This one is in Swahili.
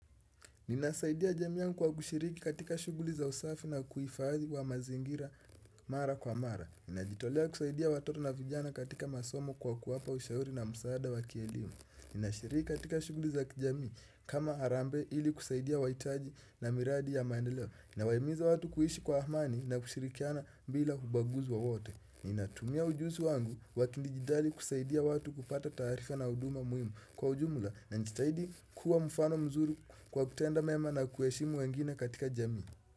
Ninasaidia jamii yangu kwa kushiriki katika shughuli za usafi na uhifadhi wa mazingira mara kwa mara Ninajitolea kusaidia watoto na vijana katika masomo kwa kuwapa ushauri na msaada wa kielimu Ninashiriki katika shughuli za kijamii kama harambe ili kusaidia wahitaji na miradi ya maendeleo nawahimiza watu kuishi kwa amani na kushirikiana bila ubaguzi wowote Ninatumia ujuzi wangu wa kidijitali kusaidia watu kupata taarifa na huduma muhimu Kwa ujumla najitahidi kuwa mfano mzuri kwa kutenda mema na kuheshimu wengine katika jami.